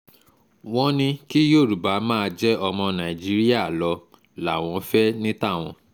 wọ́n ní kí yorùbá máa jẹ́ ọmọ nàìjíríà lọ làwọn fẹ́ ní tàwọn